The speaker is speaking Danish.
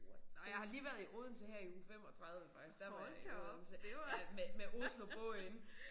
What ej jeg har lige været i Odense her i uge 35 faktisk der var jeg i Odense ja med med Oslobåden